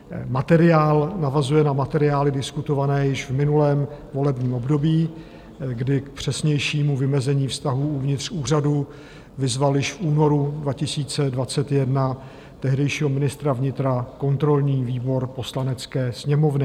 Materiál navazuje na materiály diskutované již v minulém volebním období, kdy k přesnějšímu vymezení vztahů uvnitř úřadu vyzval již v únoru 2021 tehdejšího ministra vnitra kontrolní výbor Poslanecké sněmovny.